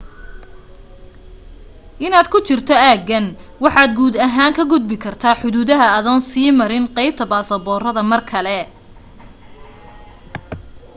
intaad ku jirto aaggan waxaad guud ahaan ka gudbi kartaa xuduudaha adoon sii marin qaybta baasboorada mar kale